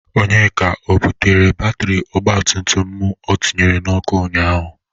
Onyeka, o bụtere batịrị ọgbatumtum mụ o tinyere n'ọkụ ụnyaahụ?